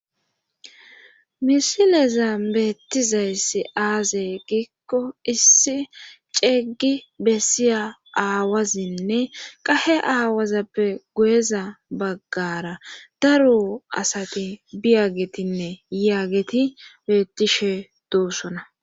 misilezan beettizayssi aazey giikko issi ceeyggi bessiya aawazinne qahe aawazappe goyeza baggara daro asati biyagetinne yaageti beettishe doossona